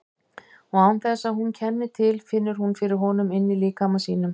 Og án þess að hún kenni til finnur hún fyrir honum inní líkama sínum.